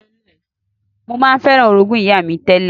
Mo ma n feran orogún ìyá mi tẹ́lẹ̀